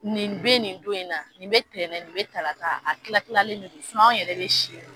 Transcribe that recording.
Nin bɛ nin don in na, nin bɛ tɛnɛ nin bɛ tarata la a tila tilalilen don anw yɛrɛ bɛ si